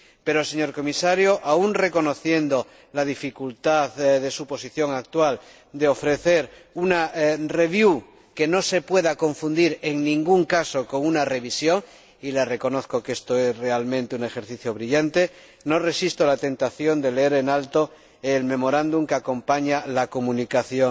Pero, señor Comisario, aun reconociendo la dificultad de su posición actual de ofrecer una review que no se pueda confundir en ningún caso con una revisión —y le reconozco que esto es realmente un ejercicio brillante—, no resisto la tentación de leer en alto el memorándum que acompaña la comunicación